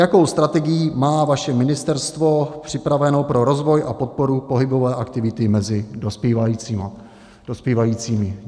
Jakou strategii má vaše ministerstvo připraveno pro rozvoj a podporu pohybové aktivity mezi dospívajícími?